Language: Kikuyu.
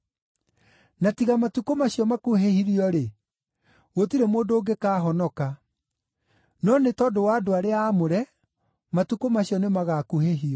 Na tiga matukũ macio makuhĩhirio-rĩ, gũtirĩ mũndũ ũngĩkaahonoka, no nĩ tondũ wa andũ arĩa aamũre, matukũ macio nĩmagakuhĩhio.